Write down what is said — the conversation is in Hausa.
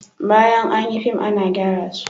Bayan an yi fim ana gyara su